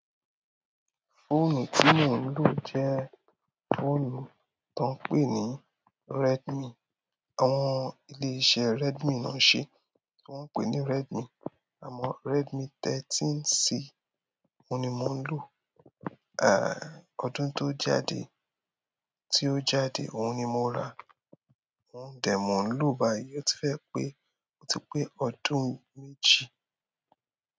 Fóònù tí mò ń lò jẹ́ fóònù tọ ń pè ní Redmi. Àwọn ilé-iṣẹ́ Redmi ló ń ṣe, tí wọ́n pè ní Redmi. Àmọ́ Redmi 13C oun ni mò ń lò, à, ọdún tó jáde, tí ó jáde, òun ni mo ra. Oun dẹ̀, mò ń lò báyìí, ó ti fẹ́ pé, ó ti pé ọdún méjì.